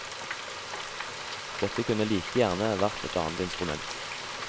Det kunne like gjerne vært et annet instrument.